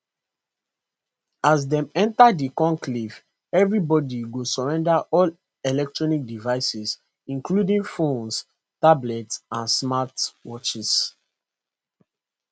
as dem enta di conclave evri body go surrender all electronic devices including phones tablets and smart watches